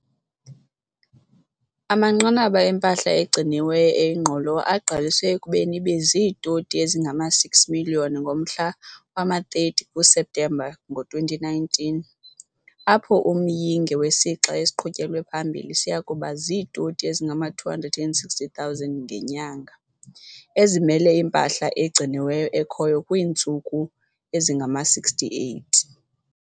Amanqanaba empahla egciniweyo eyingqolowa agqaliselwe ekubeni ibe ziitoni ezingama-600 0000 ngomhla wama-30 kuSeptemba ngo-2019, apho umyinge wesixa esiqhutyelwe phambili siya kuba ziitoni ezingama-260 000 ngenyanga, ezimele impahla egciniweyo ekhoyo kwiintsuku ezingama-68.